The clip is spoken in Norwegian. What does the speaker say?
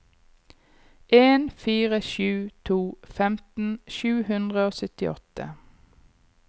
en fire sju to femten sju hundre og syttiåtte